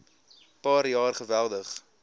paar jaar geweldig